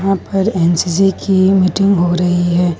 ऊपर एन_सी_सी की मीटिंग हो रही है।